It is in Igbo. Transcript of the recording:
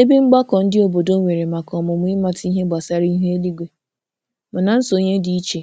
Ebe mgbakọ ndị obodo nwere maka ọmụmụ ịmata ihe gbasara ihu eluigwe, mana nsonye dị iche